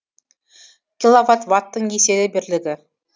киловатт ваттың еселі бірлігі